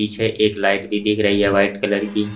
पीछे एक लाइट भी दिख रही है वाइट कलर की।